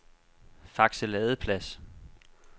Fakse Ladeplads